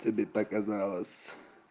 тебе показалось